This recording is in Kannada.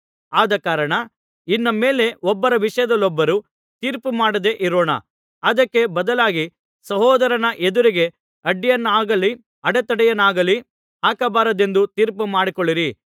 ಆದಕಾರಣ ಇನ್ನು ಮೇಲೆ ಒಬ್ಬರ ವಿಷಯದಲ್ಲೊಬ್ಬರು ತೀರ್ಪುಮಾಡದೆ ಇರೋಣ ಅದಕ್ಕೆ ಬದಲಾಗಿ ಸಹೋದರನ ಎದುರಿಗೆ ಅಡ್ಡಿಯನ್ನಾಗಲಿ ಅಡೆತಡೆಯನ್ನಾಗಲಿ ಹಾಕಬಾರದೆಂದು ತೀರ್ಮಾನಿಸಿಕೊಳ್ಳಿರಿ